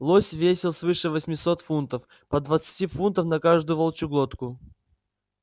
лось весил свыше восьмисот фунтов по двадцати фунтов на каждую волчью глотку